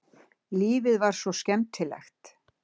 Lífið var svo skemmtilegt.